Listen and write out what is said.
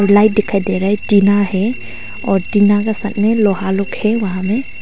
Light दिखाई दे रहा है टीना है और टीना के सामने लोहा लोग है वहां में।